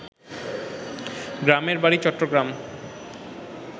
গ্রামের বাড়ি চট্টগ্রাম